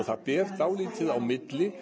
það ber dálítið á milli